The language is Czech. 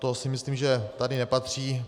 To si myslím, že sem nepatří.